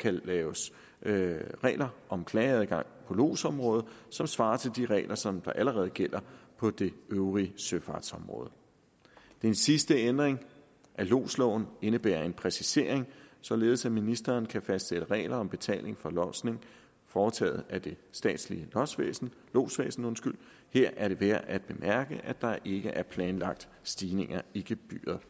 kan laves regler om klageadgang på lodsområdet som svarer til de regler som allerede gælder på det øvrige søfartsområde den sidste ændring af lodsloven indebærer en præcisering således at ministeren kan fastsætte regler om betaling for lodsning foretaget af det statslige lodsvæsen lodsvæsen her er det værd at bemærke at der ikke er planlagt stigninger i gebyret